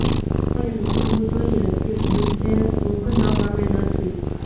તે નોંધવું જોઇએ કે યુજેન ઊંઘ ન ગમે નથી